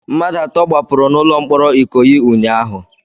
Mmadụ atọ gbapụrụ n'ụlọ mkpọrọ Ikoyi ụnyaahụ